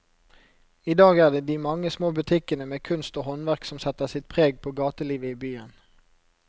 I dag er det de mange små butikkene med kunst og håndverk som setter sitt preg på gatelivet i byen.